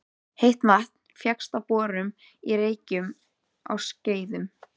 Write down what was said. Heitt vatn fékkst með borun á Reykjum á Skeiðum.